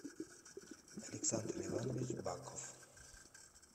александр иванович баков